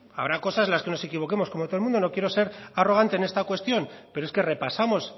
habrá cosas en los que nos equivoquemos como todo el mundo no quiero ser arrogante en esta cuestión pero es que repasamos